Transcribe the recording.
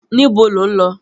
Níbo lọ̀ ń lọ?